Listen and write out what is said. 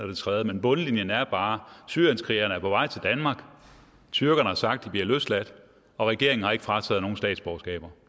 det tredje men bundlinjen er bare at syrienskrigerne er på vej til danmark tyrkerne har sagt at de bliver løsladt og regeringen har ikke frataget nogen deres statsborgerskab